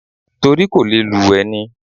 Torí kò lè lùwẹ̀ ni.